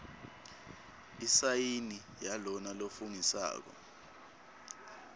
isayini yalona lofungisako